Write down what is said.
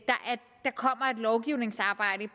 lovgivningsarbejde